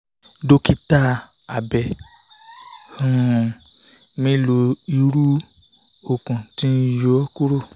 dókítà abẹ um mi lo iru okun ti n yo kuro